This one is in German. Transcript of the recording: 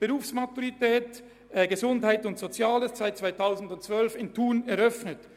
Die Berufsmaturitätsschule Gesundheit und Soziales wurde 2012 in Thun eröffnet.